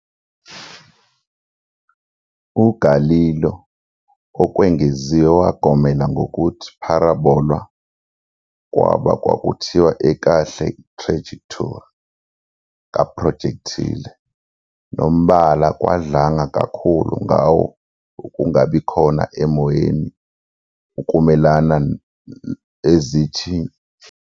UGalileo okwengeziwe wagomela ngokuthi parabola kwaba kwakuthiwa ekahle trajectory kaprojectile nombala kwadlanga kakhulu ngawo-ukungabi khona emoyeni ukumelana noma ezinye thuthuva.